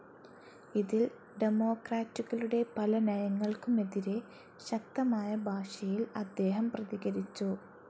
ഇതിൽ ഡെമോക്രാറ്റുകളുടെ പല നയങ്ങൾക്കുമെതിരേ ശക്തമായ ഭാഷയിൽ അദ്ദേഹം പ്രതികരിച്ചു.